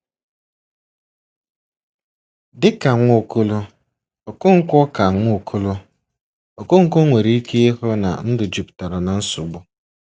Dị ka Nwaokolo, Okonkwo ka Nwaokolo, Okonkwo nwere ike ịhụ na ndụ jupụtara na nsogbu.